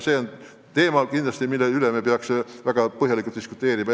See on teema, mille üle me peaks kindlasti väga põhjalikult diskuteerima.